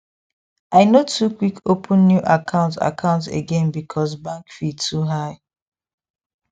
i no too quick open new account account again because bank fee too high